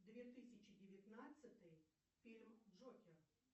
две тысячи девятнадцатый фильм джокер